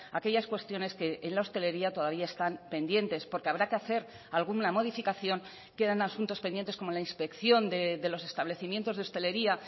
aquellas cuestiones que en la hostelería todavía están pendientes porque habrá que hacer alguna modificación quedan asuntos pendientes como la inspección de los establecimientos de hostelería